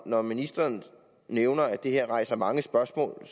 når ministeren nævner at det her rejser mange spørgsmål